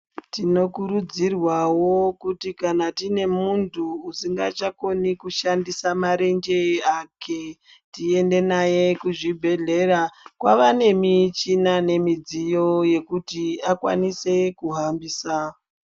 Tinokurudzirwawo kuti kana tine muntu usingachakoni kushandisa marenje ake, tiende naye kuzvibhedhlera. Kwaane michina nemidziyo yekuti akwanise kuhambisa.